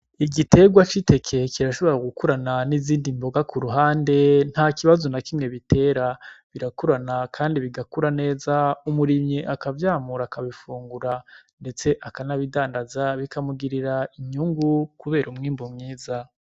Igiterwa c'iteke kirashobora gukurana nizindi mboga ku ruhande nta kibazo nakimwe bitera, birakurana kandi bigakura neza umurimyi akavyamura akabifungura ndetse akanabidandaza bikamugirira inyungu kubera umwimbu mwiza